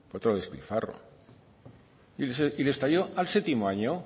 otro despilfarro le estalló al séptimo año